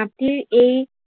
মাটিৰ এই